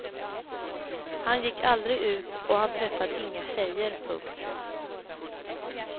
Han gick aldrig ut och han träffade inga tjejer. punkt